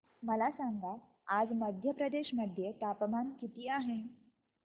मला सांगा आज मध्य प्रदेश मध्ये तापमान किती आहे